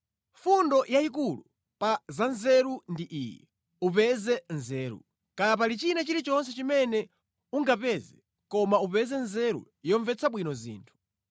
Fundo yayikulu pa za nzeru ndi iyi: upeze nzeru. Kaya pali china chilichonse chimene ungapeze, koma upeze nzeru yomvetsa bwino zinthu.